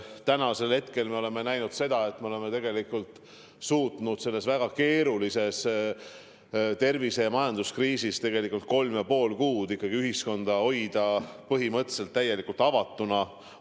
Tänasel hetkel me oleme näinud seda, et me oleme tegelikult suutnud selles väga keerulises tervise- ja majanduskriisis kolm ja pool kuud ühiskonna hoida põhimõtteliselt täielikult avatuna.